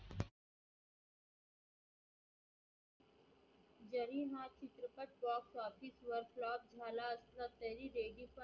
तरी हा चित्रपट Box office वर flop झाला असाल तरी